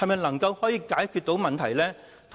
能否解決問題呢？